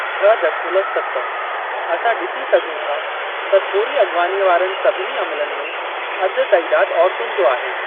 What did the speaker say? छह दशमलव सत असां डि॒सी सघूं था त थोरी अग॒वानीअ वारनि सभिनी अमलनि में अधि तइदाद औरतुनि जो आहे।